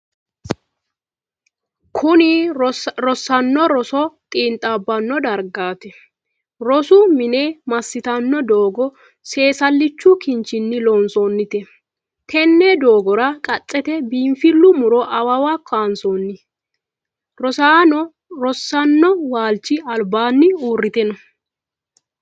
Kunni rosaano roso xiinxaabano dargaati. Rosu mine masitanno doogo seesalichu kinchinni loonsoonnite. Tenne doogora qacete biinfilu muro awawa kaansoonni. Rosaano rosano walchi albaanni uurite no.